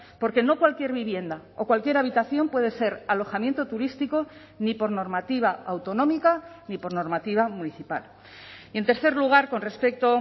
porque no cualquier vivienda o cualquier habitación puede ser alojamiento turístico ni por normativa autonómica ni por normativa municipal y en tercer lugar con respecto